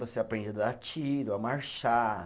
Você aprende a dar tiro, a marchar.